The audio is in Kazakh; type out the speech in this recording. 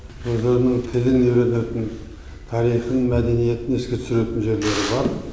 өздерінің тілін үйренетін тарихын мәдениетін еске түсіретін жерлері бар